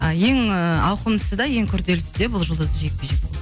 а ең ііі ауқымдысы да ең күрделісі де бұл жұлдызды жекпе жек болды